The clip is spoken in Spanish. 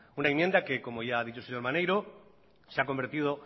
una enmienda que como ya ha dicho el señor maneiro se ha convertido